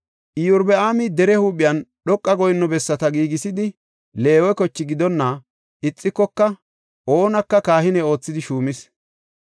Iyorbaami dere huuphen dhoqa goyinno bessata giigisidi Leewe koche gidonna ixikoka oonaka kahine oothidi shuumis.